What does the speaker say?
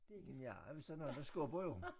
Nja hvis der er nogen der skubber jo